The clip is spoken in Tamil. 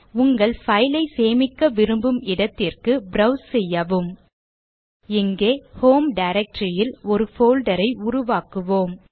உங்கள் file ஐ சேமிக்க விரும்பும் இடத்திற்கு ப்ரோவ்ஸ் செய்யவும் இங்கே ஹோம் directory ல் ஒரு folder ஐ உருவாக்குவோம்